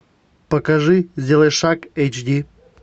покажи сделай шаг эйч ди